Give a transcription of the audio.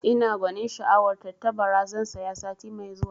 Ina gwanin sha'awar tattabara, zan saya sati mai zuwa